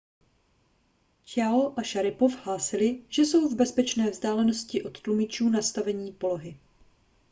chiao a šaripov hlásili že jsou v bezpečné vzdálenosti od tlumičů nastavení polohy